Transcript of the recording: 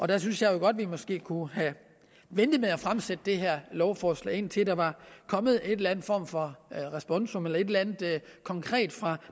der synes jeg jo godt vi måske kunne have ventet med at fremsætte det her lovforslag indtil der var kommet en eller anden form for responsum eller et eller andet konkret fra